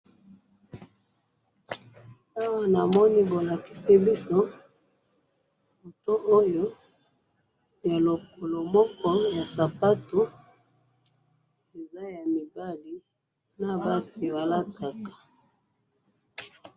awa namoni bolakisi biso moto oyo ya lokolo moko ya sapatou eza ya mibali na basi balataka